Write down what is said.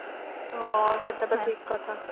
ହଁ ସେଟା ତ ଠିକ କଥା